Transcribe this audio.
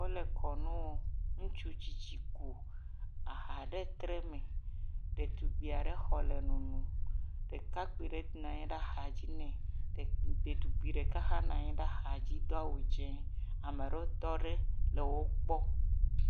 Wole kɔ nu wɔm. Ŋutsi tsitsi ƒo aha ɖe tre me ɖetugbuia aɖe xɔ le nonom. Ɖeka kpui aɖe nɔ aza dzi ne, ɖetugbui ɖeka hã anɔ anyi ɖe axa dzi do awu dzɛ le wokpɔm.